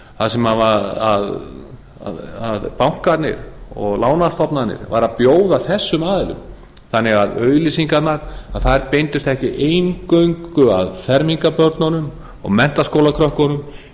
þar sem bankarnir og lánastofnanir væru að bjóða þessum aðilum þannig að auglýsingarnar beindust ekki eingöngu að fermingarbörnunum og menntaskólakrökkunum